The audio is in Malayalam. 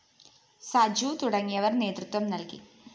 സജു തുടങ്ങിയവര്‍ നേതൃത്വം നല്‍കി